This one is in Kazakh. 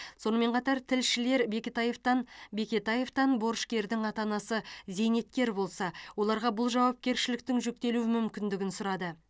сонымен қатар тілшілер бекетаевтан бекетаевтан борышкердің ата анасы зейнеткер болса оларға бұл жауапкершіліктің жүктелу мүмкіндігін сұрады